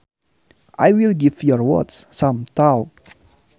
I will give your words some thought